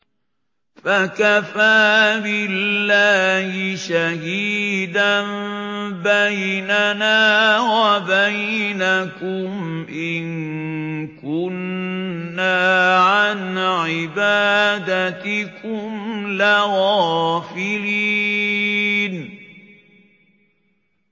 فَكَفَىٰ بِاللَّهِ شَهِيدًا بَيْنَنَا وَبَيْنَكُمْ إِن كُنَّا عَنْ عِبَادَتِكُمْ لَغَافِلِينَ